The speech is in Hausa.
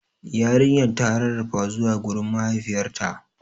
Yarinyar ta rarrafa zuwa gurin mahaifiyarta.